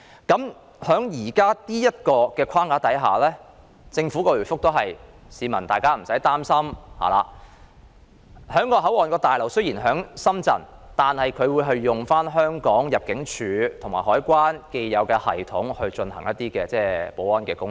據政府回覆，在現時的框架下，市民無需擔心，因為雖然旅檢大樓設於深圳，但會使用香港入境事務處和海關的既有系統進行保安工作。